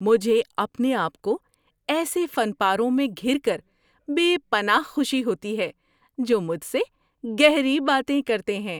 مجھے اپنے آپ کو ایسے فن پاروں میں گھِر کر بے پناہ خوشی ہوتی ہے جو مجھ سے گہری باتیں کرتے ہیں۔